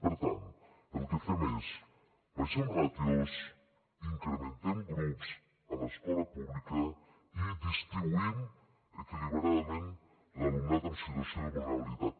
per tant el que fem és abaixem ràtios incrementem grups a l’escola pública i distribuïm equilibradament l’alumnat en situació de vulnerabilitat